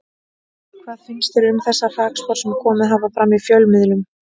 Hvað finnst þér um þessar hrakspár sem komið hafa fram í fjölmiðlum?